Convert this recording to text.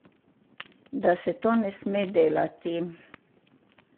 Da se to ne sme delati.